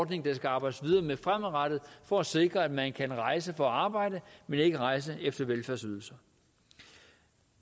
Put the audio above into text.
der skal arbejdes videre med fremadrettet for at sikre at man kan rejse for at arbejde men ikke rejse efter velfærdsydelser